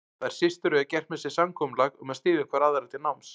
Þær systur höfðu gert með sér samkomulag um að styðja hvor aðra til náms.